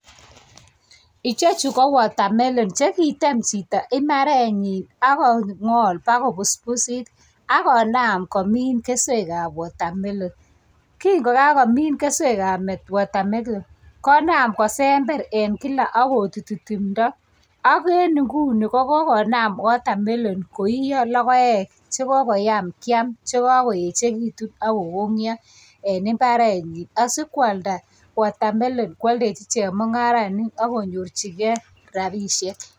Ichechu ko watermelon che kitem chito imbarenyi ak kongot ipko busbusit ak konam komin keswekab watermelon kingo kakomin keswekab watermelon konam kosember eng kila akotuti tumdo ak eng inguni kokonam watermelon koiiyo logoek che kokoyam keam che kakoechekitu ako konyo eng imbarenyi asi kwalda watermelon kwoldoji chemungarainik ak konyorjigei rabiishek.